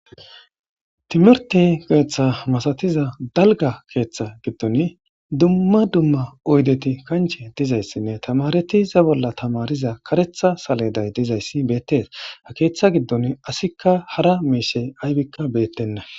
Timirte keeththa masatiza dalgga keeththa giddon dumma dumma oyddeti kanche diza issinne tamaretiza bolla tamariza karetha saleday diza issi beettes .Ha keeththa giddon asikka hara miise aybikka beettenna.